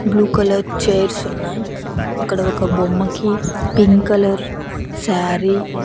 Blue colour chairs ఉన్నాయి. అక్కడ ఒక బొమ్మకి పింక్ కలర్ సారీ --